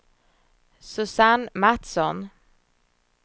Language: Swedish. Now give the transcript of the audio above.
Susanne Matsson